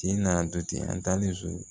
Kin na du ten an taalen so